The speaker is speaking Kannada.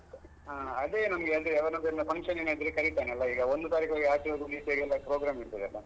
ಹ ಅದೆ ನಮ್ಗೆ ಅಂದ್ರೆ ಅವನದೆಲ್ಲ function ಇದ್ರೆ ಕರೀತಾನಲ್ಲ ಈಗ ಒಂದು ಒಂದು ತಾರಿಕೊಳಗೆ ಆಚೆಯದ್ದು ಈಚೆಯದ್ದು program ಇರ್ತದಲ್ಲ.